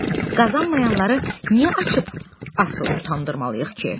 Qazanmayanları niyə açıb avtoru utandırmalıyıq ki?